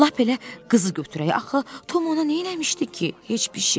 Lap elə qızı götürək, axı Tom ona neyləmişdi ki, heç bir şey.